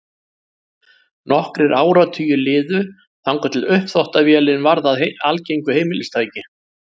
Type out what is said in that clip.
Nokkrir áratugir liðu þangað til uppþvottavélin varð að algengu heimilistæki.